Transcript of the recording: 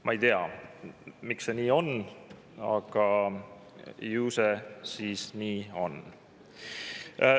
Ma ei tea, miks see nii on, aga ju see siis nii on.